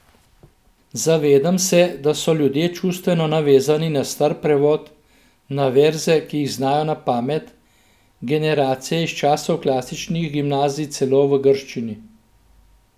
Zavedam se, da so ljudje čustveno navezani na star prevod, na verze, ki jih znajo na pamet, generacije iz časov klasičnih gimnazij celo v grščini.